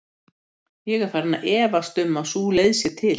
Ég er farinn að efast um að sú leið sé til.